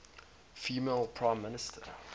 female prime minister